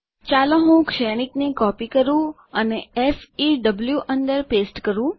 ચાલો હું શ્રેણિકને કોપી કરું અને ફેવ અંદર પેસ્ટ કરું